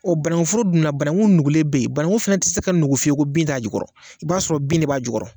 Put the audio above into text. O bananguforo dunna banangu nugulen be yen banangu dun te se ka nugu fiyewu bin t'a jukɔrɔ i b'a sɔrɔ bin nen b'a jukɔrɔ